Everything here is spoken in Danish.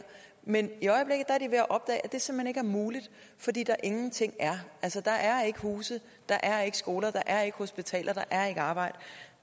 men i at det simpelt hen ikke er muligt fordi der ingenting er der er ikke huse der er ikke skoler der er ikke hospitaler der er ikke arbejde